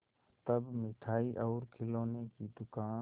तब मिठाई और खिलौने की दुकान